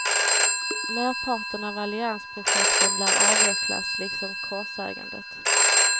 Merparten av alliansprojekten lär avvecklas liksom korsägandet.